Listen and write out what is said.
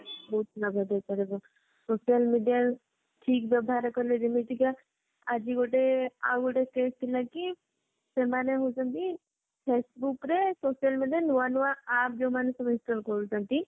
ବହୁତ ଲାଭ ଦେଇପାରିବ social media ଠିକ ବ୍ୟବହାର କଲେ ଯେମିତିକ ଆଜି ଗୋଟେ ଆଉ ଗୋଟେ case ଥିଲା କି ସେମାନେ ହାଉଛନ୍ତି faceboook ରେ social media ରେ ନୂଆ ନୂଆ app ଯୋଊମାନେ install କରୁଛନ୍ତି